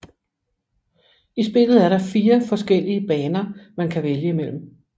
I spillet er der 4 forskellige baner man kan vælge imellem